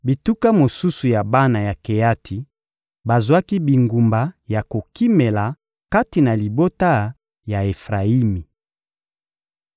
Bituka mosusu ya bana ya Keati bazwaki bingumba ya kokimela kati na libota ya Efrayimi.